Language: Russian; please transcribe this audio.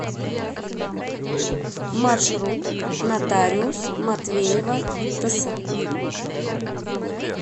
маршрут нотариус матвеева тс